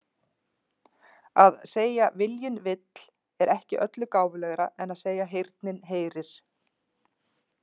Að segja viljinn vill er ekki öllu gáfulegra en að segja heyrnin heyrir.